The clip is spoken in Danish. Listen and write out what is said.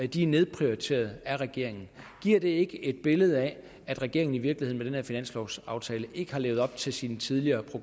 de er nedprioriteret af regeringen giver det ikke et billede af at regeringen i virkeligheden med finanslovaftale ikke har levet op til sine tidligere